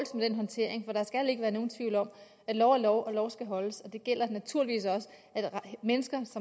med den håndtering for der skal ikke være nogen tvivl om at lov er lov og lov skal holdes og det gælder naturligvis også for mennesker